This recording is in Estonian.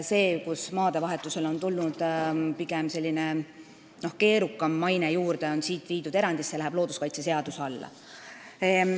Need juhud, kui maade vahetusele on tekkinud selline keerukam maine, on nüüd kirjas erandina ja on siit viidud looduskaitseseaduse alla.